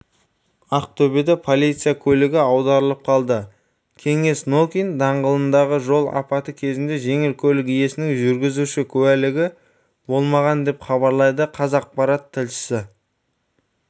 ақтөбеде полиция көлігі аударылып қалды кеңес нокин даңғылындағы жол апаты кезінде жеңіл көлік иесінің жүргізуші куәлігі болмаған деп хабарлайды қазақпарат тілшісі